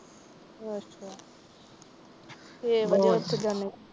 ਅੱਛਾ, ਸਵੇਰੇ ਕਿਉਂ ਉੱਠ ਜਾਨਿਓ।